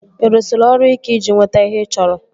Ị rụsiri ọrụ ike iji nweta ihe ị chọrọ?